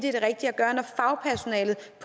at